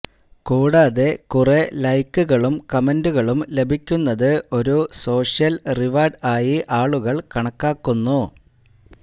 കൂടാതെ കുറേ ലൈക്കുകളും കമന്റുകളും ലഭിക്കുന്നത് ഒരു സോഷ്യൽ റിവാർഡ് ആയി ആളുകൾ കണക്കാക്കുന്നു